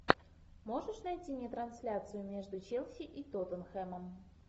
можешь найти мне трансляцию между челси и тоттенхэмом